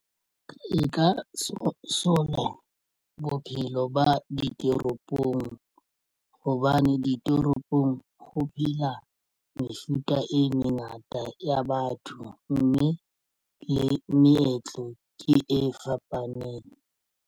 E nka sola bophelo ba ditoropong hobane ditoropong ho phela mefuta e mengata ya batho mme le meetlo ke e fapaneng.